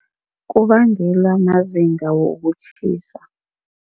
Kubangela mazinga wokutjhisa.